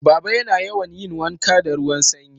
Baba yana yawan yin wanka da ruwan Sanyi